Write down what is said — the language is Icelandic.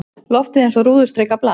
Loftið eins og rúðustrikað blað.